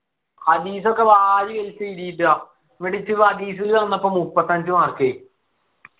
അനീസൊക്കെ വാരി വലിച്ചു എഴുതിട്ടാ അസീസ് ചെന്നപ്പോ മുപ്പത്തഞ്ചു mark